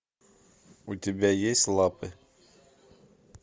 у тебя есть лапы